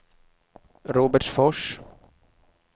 Robertsfors